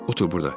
Otur burda.